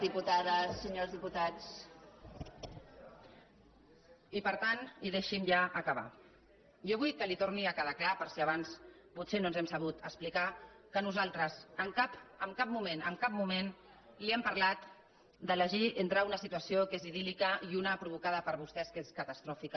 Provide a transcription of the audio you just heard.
i per tant i deixi’m ja acabar jo vull que li torni a quedar clar per si abans potser no ens hem sabut explicar que nosaltres en cap moment en cap moment li hem parlat d’elegir entre una situació que és idíl·lica i una provocada per vostès que és catastròfica